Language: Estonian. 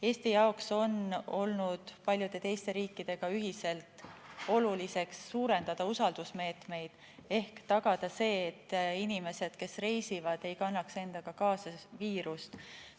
Eesti jaoks on olnud oluline paljude teiste riikidega ühiselt suurendada usaldusmeetmeid ehk tagada see, et inimesed, kes reisivad, ei kannaks endaga kaasa viirust.